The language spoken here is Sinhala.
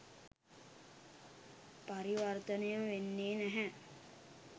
පරිවර්තනය වෙන්නේ නැහැ.